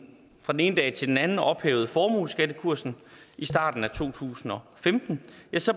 ene dag til den anden ophævede formueskattekursen i starten af to tusind og femten